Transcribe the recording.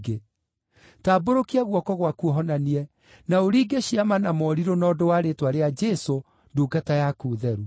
Tambũrũkia guoko gwaku ũhonanie, na ũringe ciama na morirũ na ũndũ wa rĩĩtwa rĩa Jesũ, ndungata yaku theru.”